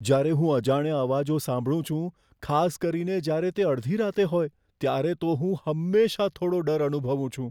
જ્યારે હું અજાણ્યા અવાજો સાંભળું છું, ખાસ કરીને જ્યારે તે અડધી રાતે હોય ત્યારે, તો હું હંમેશાં થોડો ડર અનુભવું છું.